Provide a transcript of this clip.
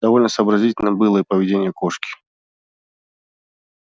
довольно сообразительным было и поведение кошки